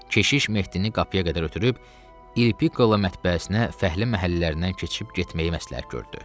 Keşiş Mehdini qapıya qədər ötürüb İlpiko ilə mətbəəsinə, fəhlə məhəllələrindən keçib getməyi məsləhət gördü.